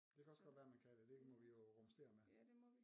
Det kan også godt være man kan det det må vi jo rumstere med